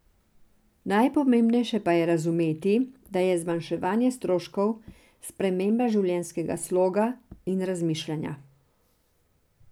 Najpomembnejše pa je razumeti, da je zmanjševanje stroškov sprememba življenjskega sloga in razmišljanja.